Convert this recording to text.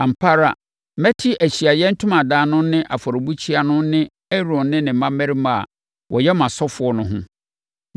“Ampa ara, mɛte Ahyiaeɛ Ntomadan no ne afɔrebukyia no ho ne Aaron ne ne mmammarima a wɔyɛ mʼasɔfoɔ no ho.